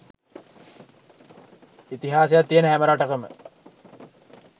ඉතිහාසයක් තියෙන හැම රටකම